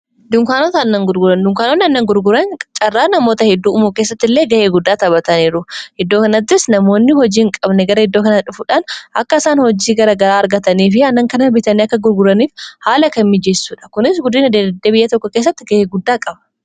dunkaanota annan gurguran dunkaanotni annan gurguran carraa namoota hedduu umuo keessatti illee ga'ee guddaa taphataniiru hiddoo kanattis namoonni hojiihin qabne gara hiddoo kana dhufuudhaan akka isaan hojii gara garaa argatanii fi annan kana biitaanii akka gurguraniif haala kan mijeessuudha kunis guddinadddeebiyya tokko keessatti ga'ee guddaa qaba